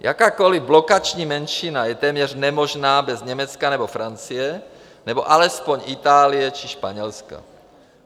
Jakákoli blokační menšina je téměř nemožná bez Německa nebo Francie nebo alespoň Itálie či Španělska.